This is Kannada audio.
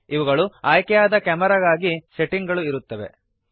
ಇವುಗಳು ಆಯ್ಕೆಯಾದ ಕ್ಯಾಮೆರಾಗಾಗಿ ಸೆಟ್ಟಿಂಗ್ ಗಳು ಇರುತ್ತವೆ